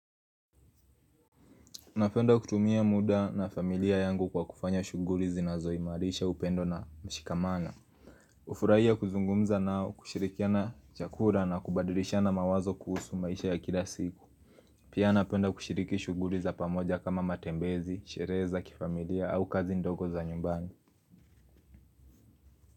Napenda kutumia muda na familia yangu kwa kufanya shuguli zinazo imarisha upendo na mshikamana. Hufurahia kuzungumza nao, kushirikiana chakura na kubadirishana mawazo kuhusu maisha ya kila siku. Pia napenda kushiriki shuguri za pamoja kama matembezi, sherehe za kifamilia au kazi ndogo za nyumbani.